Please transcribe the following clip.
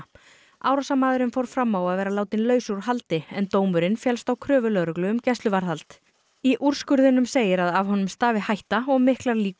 árásarmaðurinn fór fram á að vera látinn laus úr haldi en dómurinn féllst á kröfu lögreglu um gæsluvarðhald í úrskurðinum segir að af honum stafi hætta og miklar líkur